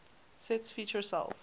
sets feature self